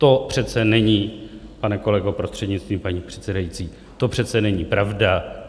To přece není, pane kolego, prostřednictvím paní předsedající, to přece není pravda.